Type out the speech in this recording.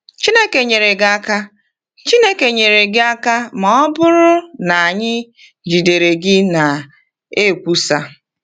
Chineke nyere gị Chineke nyere gị aka ma ọ bụrụ na anyị jidere gị na-ekwusa.”